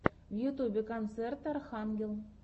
в ютьюбе концерт архангел